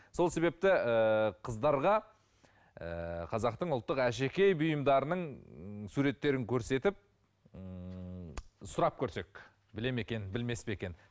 сол себепті ыыы қыздарға ыыы қазақтың ұлттық әшекей бұйымдарының суреттерін көрсетіп ііі сұрап көрсек біле ме екен білмес пе екен